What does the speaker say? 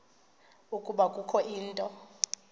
ukuba kukho into